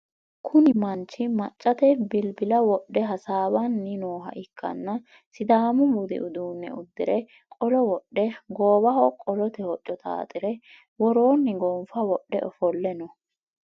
Kunii manchi maccate bilbila wodhe hasaawanni nooha ikkanna sidaamu budi uduunne uddire qolo wodhe goowaho qolote hocco xaaxire woroonni gonffa wodhe ofolle no